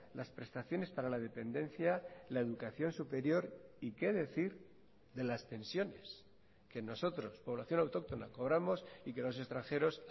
las prestaciones para la dependencia la educación superior y qué decir de las pensiones que nosotros población autóctona cobramos y que los extranjeros